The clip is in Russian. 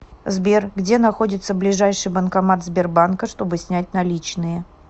сбер где находится ближайший банкомат сбербанка чтобы снять наличные